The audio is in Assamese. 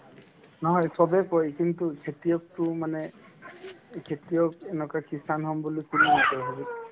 নহয় চবে কই কিন্তু খেতিয়কতো মানে কি খেতিয়ক এনেকুৱা kisan হম বুলি কোনেও নকই হ'লে